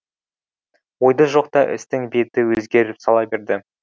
ойда жоқта істің беті өзгеріп сала берді